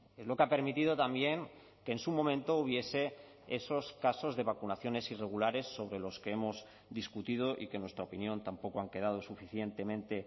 es lo que ha permitido también que en su momento hubiese esos casos de vacunaciones irregulares sobre los que hemos discutido y que en nuestra opinión tampoco han quedado suficientemente